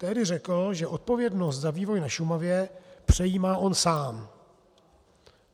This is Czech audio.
Tehdy řekl, že odpovědnost za vývoj na Šumavě přejímá on sám.